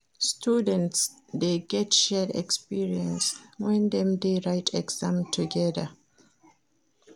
Students de get shared experience when dem de write exam together